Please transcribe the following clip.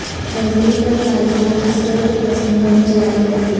غزنی پر طالبان عسکریت پسندوں نے چڑھائی کر دی